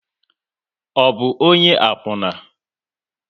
Ọ bụ ọnye akwuna?